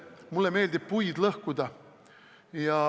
Mulle meeldib puid lõhkuda.